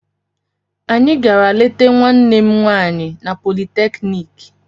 Anyị gara leta nwanne m nwaanyị na politeknik